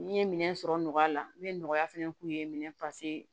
N ye minɛn sɔrɔ nɔgɔya la n bɛ nɔgɔya fana k'u ye minɛn